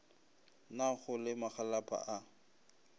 na go le magalapa a